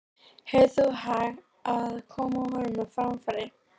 Hefur því hag af að koma honum á framfæri.